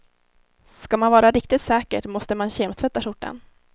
Ska man vara riktigt säker måste man kemtvätta skjortan.